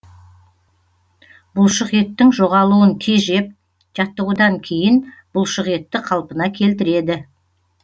бұлшықеттің жоғалуын тежеп жаттығудан кейін бұлшықетті қалпына келтіреді